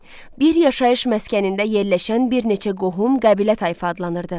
Bir yaşayış məskənində yerləşən bir neçə qohum qəbilə tayfa adlanırdı.